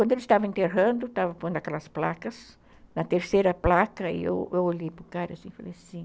Quando eles estavam enterrando, estavam pondo aquelas placas, na terceira placa, eu olhei para o cara e falei assim,